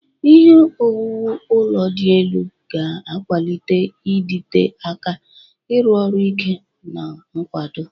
Ihe owuwu ụlọ dị elu ga-akwalite ịdịte aka, ịrụ ọrụ ike, na nkwado.